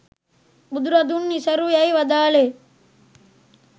බුදුරදුන් නිසරු යැයි වදාළේ